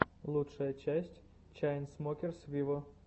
лучшая часть чайнсмокерс виво